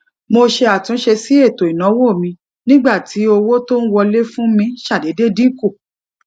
mo ṣe àtúnṣe sí ètò ìnáwó mi nígbà tí owó tó ń wọlé fún mi ṣàdédé dín kù